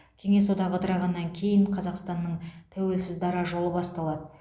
кеңес одағы ыдырағаннан кейін қазақстанның тәуелсіз дара жолы басталады